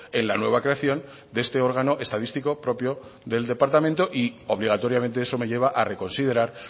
en la nueva creación de este órgano estadístico propio del departamento y obligatoriamente eso me lleva a reconsiderar